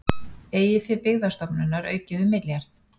Eigið fé Byggðastofnunar aukið um milljarð